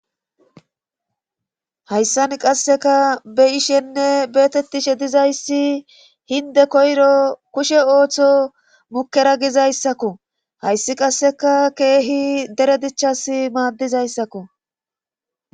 hayssan qasseka be ishenne beetettishe dizayssi hinde koyro kushe ooththo mukera gizayssakko hayssi qasseka keehi dere dichas maaddizayssakko